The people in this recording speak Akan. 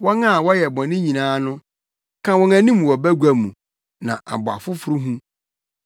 Wɔn a wɔyɛ bɔne nyinaa no, ka wɔn anim wɔ bagua mu na abɔ afoforo hu.